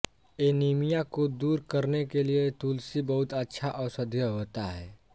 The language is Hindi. एनीमिया को दूर करने के लिए तुलसी बहुत अच्छा औषधीय होता है